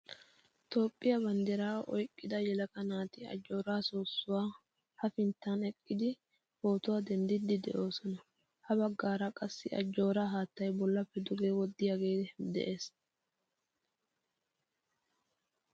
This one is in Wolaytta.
Toophphiyaa banddiraa oyqqida yelaga naati Ajjooraa soosuwaa hafinttan eqqidi pootuwaa denddidi de'oosona. Ya baggaara qassi Ajjooraa haattaay bollappe duge wodiyage de'ees.